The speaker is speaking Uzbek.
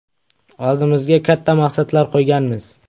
Oldimizga katta maqsadlar qo‘yganmiz.